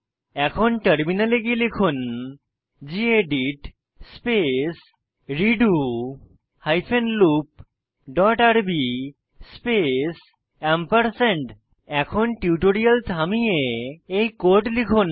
এখন টার্মিনালে গিয়ে লিখুন gedit space redo hyphen loop dot rb space এখন টিউটোরিয়াল থামিয়ে এই কোড লিখুন